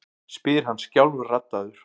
spyr hann skjálfraddaður.